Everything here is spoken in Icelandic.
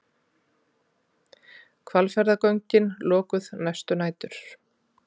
Hvalfjarðargöngin lokuð næstu nætur